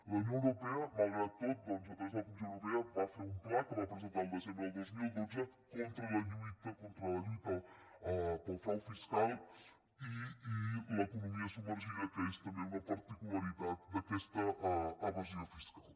la unió europea malgrat tot doncs a través de la comissió europea va fer un pla que va presentar al desembre del dos mil dotze de lluita contra el frau fiscal i l’eco·nomia submergida que és també una particularitat d’aquesta evasió fiscal